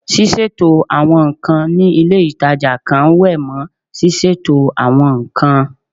Ṣíṣètò àwọn nǹkan ní ilé ìtajà kan wé mọ́ ṣíṣètò àwọn nǹkan